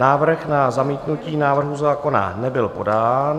Návrh na zamítnutí návrhu zákona nebyl podán.